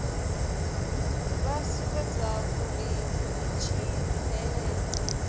vha sumbedzwa uri vha ḓitsireledza